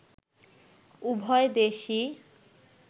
উভয় দেশেই